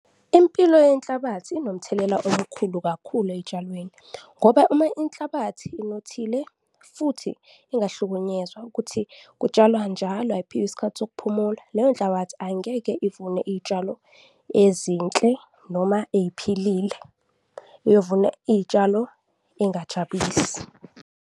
Impilo yenhlabathi inomthelela omkhulu kakhulu ey'tshalweni ngoba uma inhlabathi inothile futhi ingahlukunyezwa, ukuthi kutshalwa njalo ayiphiwa isikhathi sokuphumula, leyo nhlabathi angeke ivune iy'tshalo ezinhle noma eziphilile, iyovuna iy'tshalo ey'ngajabulisi.